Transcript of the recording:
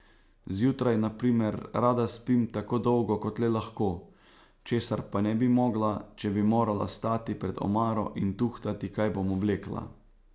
Zjutraj, na primer, rada spim tako dolgo kot le lahko, česar pa ne bi mogla, če bi morala stati pred omaro in tuhtati, kaj bom oblekla.